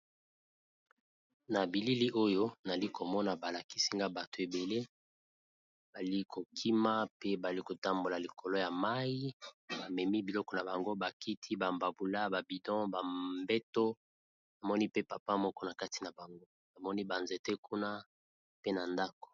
Na bilili oyo nali komona balakisi nga bato ebele bali kokima pe bali kotambola likolo ya mayi ba memi biloko na bango bakiti ba mbabula ba bidon ba mbeto namoni pe papa moko na kati na bango namoni ba nzete kuna pe na ndako.